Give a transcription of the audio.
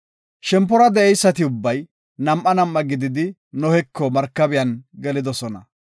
Shempora de7eysati ubbay nam7a nam7a gididi Noheko markabiyan gelidosona.